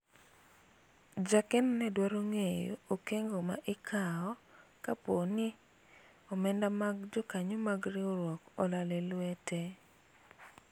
jakeno ne dwaro ng'eyo okengo ma ikawo kapo ni omenda mag jokanyo mag riwruok olal e lwete